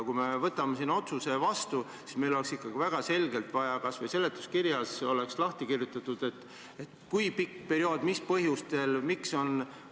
Kui me võtame siin otsuse vastu, siis meil oleks ikkagi väga selgelt vaja, et kas või seletuskirjas oleks lahti kirjutatud, kui pikk periood, mis põhjustel, miks jne.